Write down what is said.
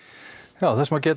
þess má geta